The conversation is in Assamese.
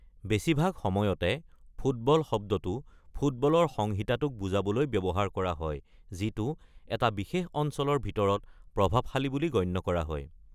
বেছিভাগ সময়তে ‘ফুটবল’ শব্দটো ফুটবলৰ সংহিতাটোক বুজাবলৈ ব্যৱহাৰ কৰা হয় যিটো এটা বিশেষ অঞ্চলৰ ভিতৰত প্ৰভাৱশালী বুলি গণ্য কৰা হয়।